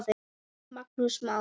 Magnús Már.